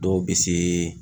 Dɔw bɛ se